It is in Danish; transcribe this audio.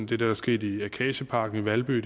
det der er sket i akacieparken i valby